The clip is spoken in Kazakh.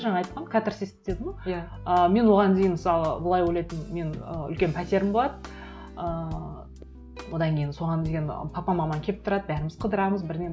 жаңа айтқам катарсис дедім ғой иә ы мен оған дейін мысалы былай ойлайтынмын менің ы үлкен пәтерім болады ыыы одан кейін соған деген папа мамам келіп тұрады бәріміз қыдырамыз бірдеңе